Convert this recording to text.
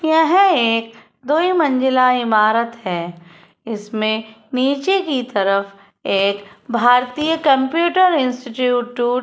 यह एक दोई मंजिला इमारत है। इसमें नीचे की तरफ एक भारतीय कंप्यूटर इंस्टिट्यूट टूट --